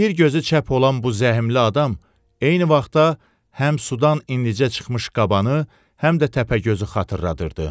Bir gözü çap olan bu zəhmli adam eyni vaxtda həm sudan indicə çıxmış qabanı, həm də təpəgözü xatırladırdı.